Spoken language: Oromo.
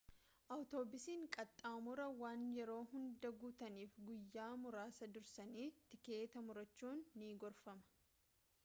awutoobusiin qaxxaamuraa waan yeroo hundaa guutaniif guyyaa muraasa dursanii tikeeta murachuun ni gorfama